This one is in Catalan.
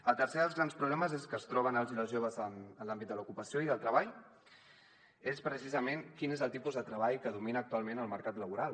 el tercer dels grans problemes que es troben els i les joves en l’àmbit de l’ocupació i del treball és precisament quin és el tipus de treball que domina actualment el mercat laboral